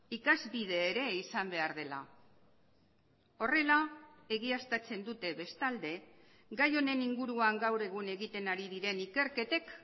ikasbide ere izan behar dela horrela egiaztatzen dute bestalde gai honen inguruan gaur egun egiten ari diren ikerketek